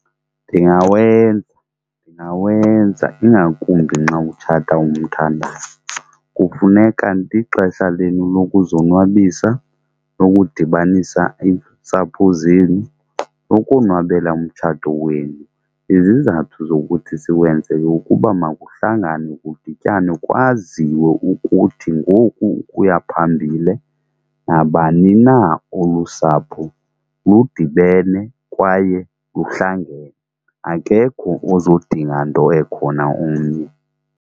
Ndingawenza ndingawenza ingakumbi nxa utshata umthandayo. Kufuneka ndixesha lenu lokuzonwabisa, nokudibanisa iintsapho zenu, nokonwabela umtshato wenu. Izizathu zokuthi siwenze yeyokuba makuhlanganwe, kudityanwe kwaziwe ukuthi ngoku ukuya phambile nabani na olusapho ludibene kwaye luhlangene, akekho ozodinga nto ekhona omnye.